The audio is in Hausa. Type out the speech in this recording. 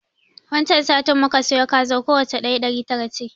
Wan can satin muka siyo kazar, kowacce ɗaya ɗari tara ce.